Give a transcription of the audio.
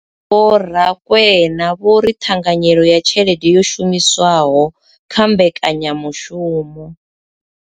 Vho Rakwena vho ri ṱhanganyelo ya tshelede yo shumiswaho kha mbekanyamushumo.